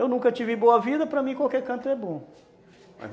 Eu nunca tive boa vida, para mim qualquer canto é bom.